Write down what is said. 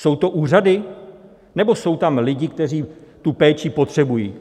Jsou to úřady, nebo jsou tam lidi, kteří tu péči potřebují?